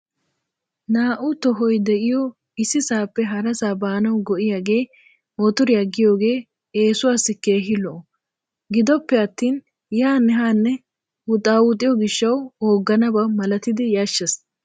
Naa"u tohoy de"iyoo issisappe harasaa baanawu go"iyaagee motoriyaa giyoogee eessuwaassi keehin lo"o. Gidoppe attin yaanne haanne wuxaawuxiyoo gishawu oogganaba malatidi yashshees.